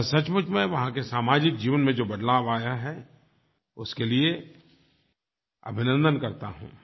मैं सचमुच में वहाँ के सामाजिक जीवन में जो बदलाव आया है उसके लिए अभिनन्दन करता हूँ